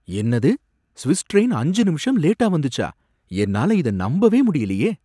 என்னது! Swiss train அஞ்சு நிமிஷம் லேட்டா வந்துச்சா, என்னால இத நம்பவே முடியலயே